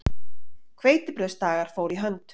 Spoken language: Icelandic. Hveitibrauðsdagar fóru í hönd.